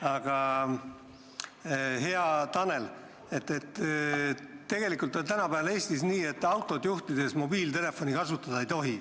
Aga, hea Tanel, tegelikult on tänapäeval Eestis nii, et autot juhtides mobiiltelefoni kasutada ei tohi.